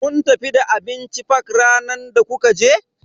Kun tafi da abinci fak ranar da kuka je?